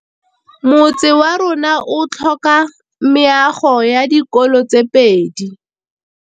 Motse warona o tlhoka meago ya dikolô tse pedi.